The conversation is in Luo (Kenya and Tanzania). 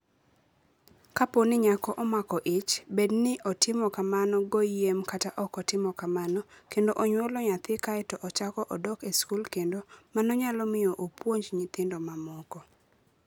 Kapo ni nyako omako ich, bed ni otimo kamano goyiem kata ok otimo kamano, kendo onyuolo nyathi kae to ochako odok e skul kendo, mano nyalo miyo opuonj nyithindo mamoko.